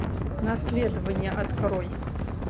наследование открой